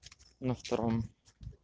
на втором